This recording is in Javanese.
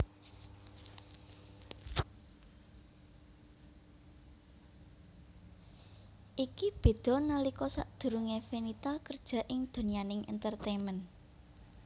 Iki beda nalika sadurungé Fenita kerja ing donyaning entertainment